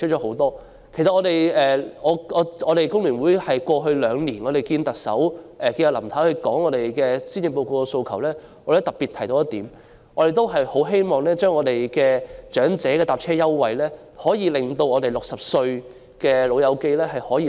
香港工會聯合會過去兩年與林太會面提出對施政報告的訴求時，也特別提到我們十分希望長者乘車優惠能擴大至60歲的長者。